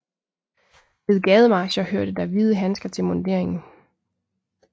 Ved gademarcher hørte der hvide handsker til munderingen